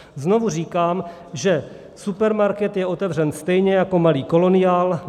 Znovu říkám, že supermarket je otevřen stejně jako malý koloniál.